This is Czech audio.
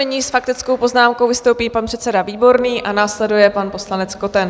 Nyní s faktickou poznámkou vystoupí pan předseda Výborný a následuje pan poslanec Koten.